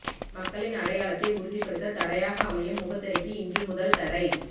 மக்களின் அடையாளத்தை உறுதிப்படுத்த தடையாக அமையும் முகத்திரைக்கு இன்று முதல் தடை